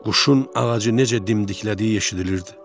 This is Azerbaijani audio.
Quşun ağacı necə dimdiklədiyi eşidilirdi.